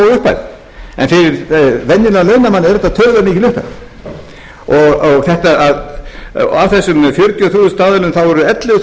það er kannski ekki stór upphæð en fyrir venjulegan launamann er þetta töluvert mikil upphæð og af þessum fjörutíu og þrjú þúsund aðilum eru ellefu